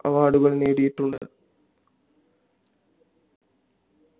award കൾ നേടിയിട്ടുണ്ട്